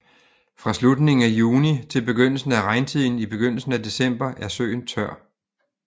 Fra slutningen af juni til begyndelsen af regntiden i begyndelsen af december er søen tør